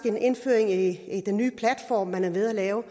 en indføring i den nye platform man er ved at lave og